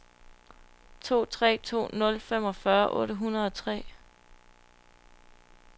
to tre to nul femogfyrre otte hundrede og tre